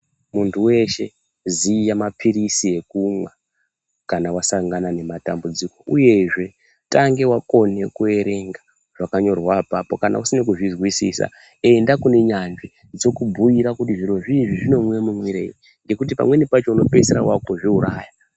Muntu weshe, ziya maphirizi ekumwa kana wasangana nematambudziko. Uyezve ,tange wakone kuerenga zvakanyorwa apapo. Kana usina kuzvizwisisa ,enda kune nyanzvi dzokubhuira kuti zviro zvii izvi zvinomwe mumwirwei, ngokuti pamweni pacho unopeisire waakuzviuraya.